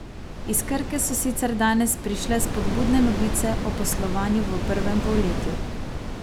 Iz Krke so sicer danes prišle spodbudne novice o poslovanju v prvem polletju.